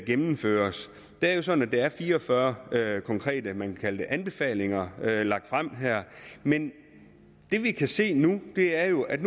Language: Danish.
gennemføres det jo sådan at der er fire og fyrre konkrete anbefalinger lagt frem her men det vi kan se nu er jo at